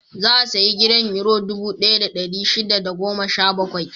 Za a sayi gidan Yuro dubu ɗaya da ɗari shida da goma sha bakwai.